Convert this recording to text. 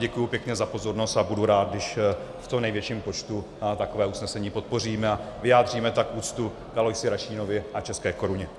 Děkuji pěkně za pozornost a budu rád, když v co největším počtu takové usnesení podpoříme a vyjádříme tak úctu k Aloisi Rašínovi a české koruně.